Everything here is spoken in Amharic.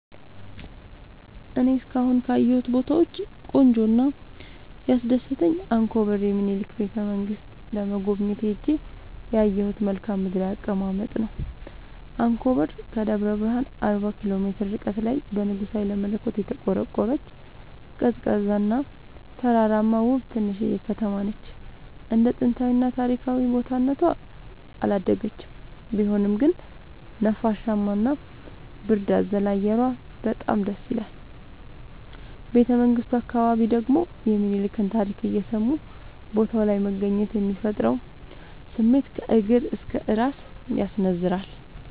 እኔ እስካሁን ካየሁት ቦታወች ቆንጆው እና ያስደሰተኝ አንኮበር የሚኒልክን ቤተ-መንግስት ለመጎብኘት ሄጄ ያየሁት መልከአ ምድራዊ አቀማመጥ ነው። አንኮበር ከደብረ ብረሃን አርባ ኪሎ ሜትር ርቀት ላይ በንጉስ ሀይለመለኮት የተቆረቆረች፤ ቀዝቃዛ እና ተራራማ ውብ ትንሽዬ ከተማነች እንደ ጥንታዊ እና ታሪካዊ ቦታ እነቷ አላደገችም ቢሆንም ግን ነፋሻማ እና ብርድ አዘል አየሯ በጣም ደስይላል። ቤተመንግቱ አካባቢ ደግሞ የሚኒልክን ታሪክ እየሰሙ ቦታው ላይ መገኘት የሚፈጥረው ስሜት ከእግር እስከ እራስ ያስነዝራል።